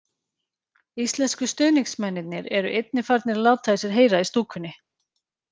Íslensku stuðningsmennirnir eru einnig farnir að láta í sér heyra í stúkunni.